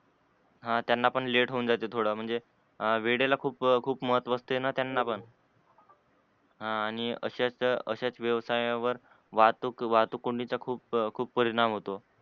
हा त्यांना पण late होवून जाते थोड म्हणजे वेळे वेळेला खूप, खूप महत्व असते न त्यांना पण ह आणि अस्याच अस्याच व्यवसायावर वाहतूक वाहतूक कोंडी चा खूप परिणाम होतो.